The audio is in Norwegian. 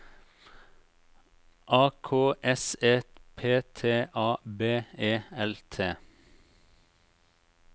A K S E P T A B E L T